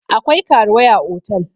akwai karuwai a otal